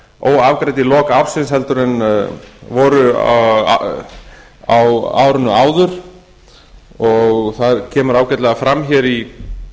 óafgreidd í lok ársins heldur en voru á árinu áður það kemur ágætlega fram hér